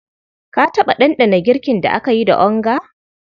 Ka taɓa ɗanɗana girkin da aka yi da onga?